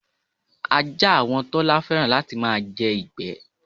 Ajá àwon Tọ́lá fé̩ràn láti máa je̩ ìgbé̩.